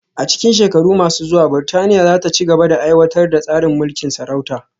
A cikin shekaru masu zuwa, Burtaniya za ta ci gaba da aiwatar da tsarin mulkin sarauta